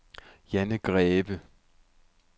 Janne Greve